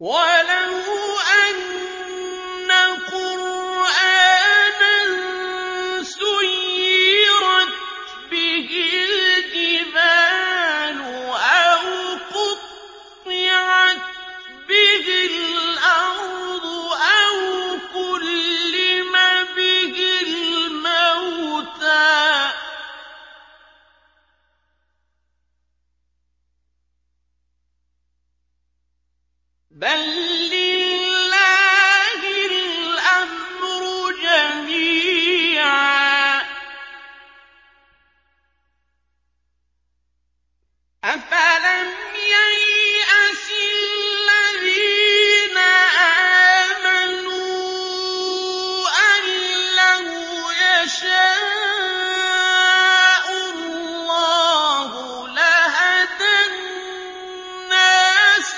وَلَوْ أَنَّ قُرْآنًا سُيِّرَتْ بِهِ الْجِبَالُ أَوْ قُطِّعَتْ بِهِ الْأَرْضُ أَوْ كُلِّمَ بِهِ الْمَوْتَىٰ ۗ بَل لِّلَّهِ الْأَمْرُ جَمِيعًا ۗ أَفَلَمْ يَيْأَسِ الَّذِينَ آمَنُوا أَن لَّوْ يَشَاءُ اللَّهُ لَهَدَى النَّاسَ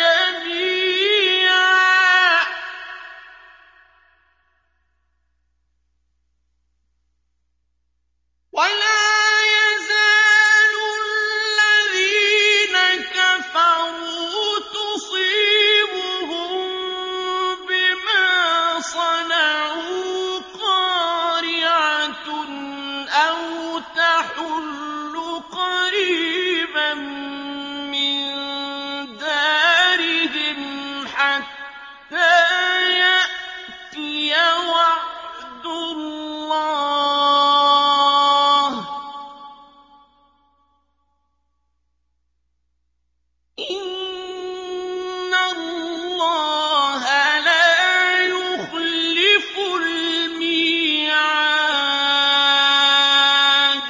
جَمِيعًا ۗ وَلَا يَزَالُ الَّذِينَ كَفَرُوا تُصِيبُهُم بِمَا صَنَعُوا قَارِعَةٌ أَوْ تَحُلُّ قَرِيبًا مِّن دَارِهِمْ حَتَّىٰ يَأْتِيَ وَعْدُ اللَّهِ ۚ إِنَّ اللَّهَ لَا يُخْلِفُ الْمِيعَادَ